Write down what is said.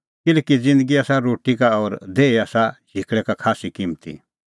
किल्हैकि ज़िन्दगी आसा रोटी का और देही आसा झिकल़ै का खास्सी किम्मती